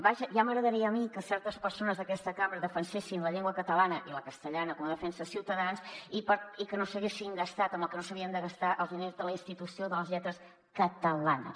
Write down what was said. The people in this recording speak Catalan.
vaja ja m’agradaria a mi que certes persones d’aquesta cambra defensessin la llengua catalana i la castellana com la defensa ciutadans i que no s’haguessin gastat home el que no s’havien de gastar els diners de la institució de les lletres catalanes